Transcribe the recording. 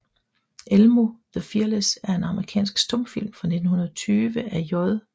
Elmo the Fearless er en amerikansk stumfilm fra 1920 af J